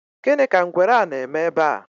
gini ka ngwere a na-eme ebe a?